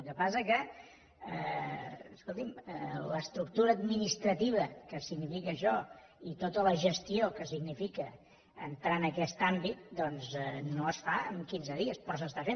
el que passa que escolti’m l’estructura administrativa que significa això i tota la gestió que significa entrar en aquest àmbit doncs no es fan en quinze dies però s’està fent